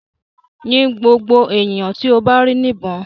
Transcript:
Yin ngbogbo eniyan ti o ba ri nibon!